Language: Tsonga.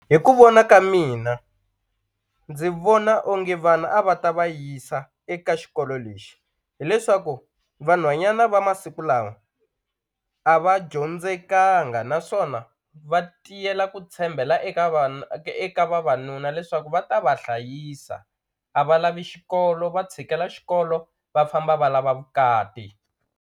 Hi ku vona ka mina ndzi vona onge vana a va ta va yisa eka xikolo lexi hileswaku vanhwanyana va masiku lawa a va dyondzekanga naswona va tiyela ku tshembela eka vana eka vavanuna leswaku va ta va hlayisa a va lavi xikolo va tshikela xikolo va famba va lava vukati.